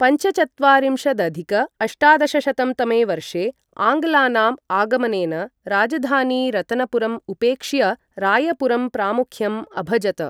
पञ्चचत्वारिंशदधिक अष्टादशशतं तमे वर्षे आङ्ग्लानाम् आगमनेन राजधानी रतनपुरम् उपेक्ष्य रायपुरम् प्रामुख्यम् अभजत।